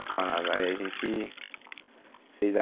Aí a gente fez a